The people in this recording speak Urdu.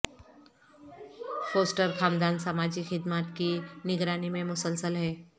فوسٹر خاندان سماجی خدمات کی نگرانی میں مسلسل ہے